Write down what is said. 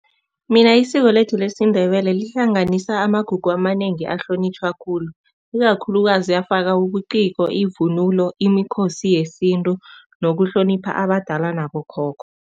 Mina isiko lethu lesiNdebele lihlanganisa amagugu amanengi ahlonitjhwa khulu, ikakhulukazi afaka ubuciko, ivunulo, imikhosi yesintu nokuhlonipha abadala nabokhokho.